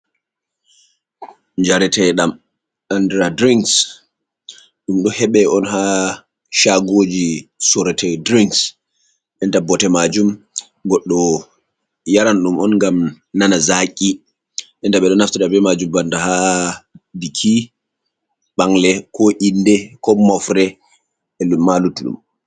Njarate ɗam andira dirings. Ɗum ɗo heɓe on haa shagoji soorete drinks, enta bbote majum goɗɗo yaran ɗum on ngam nana zaki. Ɓe ɗo naftira be majum banda ha biki, ɓangle, ko inde, ko mofre el ma luttu ɗum.